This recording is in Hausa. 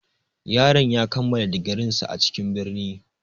Yaron ya kammala digirinsa a cikin birni.